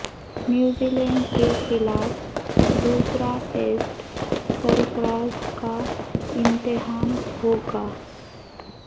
New Zealand کے خلاف دوسرا ٹیسٹ سرفراز کا امتحان ہوگا